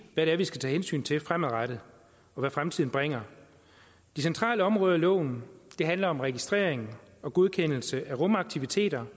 hvad det er vi skal tage hensyn til fremadrettet og hvad fremtiden bringer de centrale områder i loven handler om registrering og godkendelse af rumaktiviteter